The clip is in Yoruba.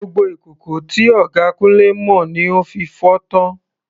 Gbogbo ìkòkò tí ọ̀gá Kunle mọ ni ó fi fọ́ tán.